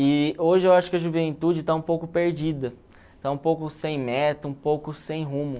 E hoje eu acho que a juventude está um pouco perdida, está um pouco sem meta, um pouco sem rumo.